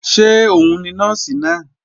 Ṣé òun ni Nọ́ọ̀sì náà?